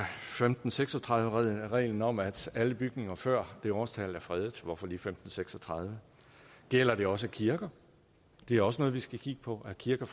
femten seks og tredive reglen om at alle bygninger før det årstal er fredet hvorfor lige femten seks og tredive gælder det også kirker det er også noget vi skal kigge på er kirker